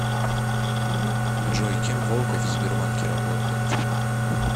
джой кем волков в сбербанке работает